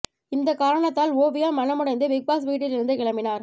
இந்த காரணத்தால் ஓவியா மனமுடைந்து பிக் பாஸ் வீட்டில் இருந்து கிளம்பினார்